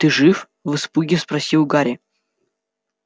ты жив в испуге спросил гарри